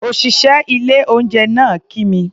Òṣìṣẹ́ ilé-oúnjẹ náà kí mi.